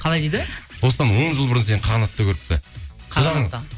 қалай дейді осыдан он жыл бұрын сені қағанатта көріпті